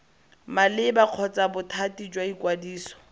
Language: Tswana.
maleba kgotsa bothati jwa ikwadiso